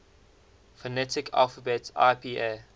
phonetic alphabet ipa